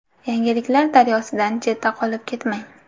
Yangiliklar daryosidan chetda qolib ketmang.